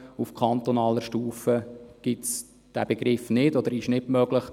Auf kantonaler Stufe gibt es den Begriff nicht, respektive ist das nicht möglich.